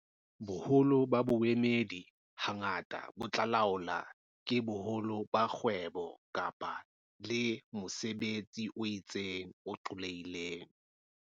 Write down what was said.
Boholo ba boemedi hangata bo tla laolwa ke boholo ba kgwebo le, kapa mosebetso o itseng, o qollehileng.